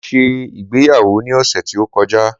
mo se ìgbéyàwó ni ọsẹ ti o kọjá